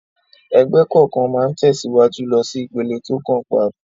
Ẹgbẹ́ kọ̀ọ̀kan máa ń tẹ̀síwájú lọ sí ìpele tó kàn pap